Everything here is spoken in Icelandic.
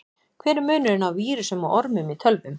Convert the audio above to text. Hver er munurinn á vírusum og ormum í tölvum?